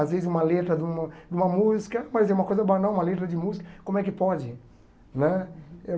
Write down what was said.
Às vezes uma letra de uma de uma música, mas é uma coisa banal, uma letra de música, como é que pode né?